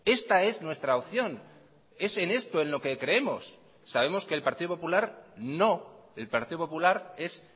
esta es nuestra opción es en esto en lo que creemos sabemos que el partido popular no el partido popular es